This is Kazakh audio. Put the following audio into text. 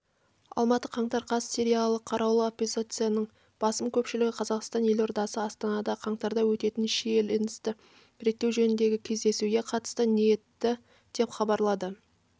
алматы қаңтар қаз сириялық қарулы оппозицияның басым көпшілігі қазақстан елордасы астанада қаңтарда өтетін шиеленісті реттеу жөніндегі кездесуге қатысуға ниетті деп хабарлады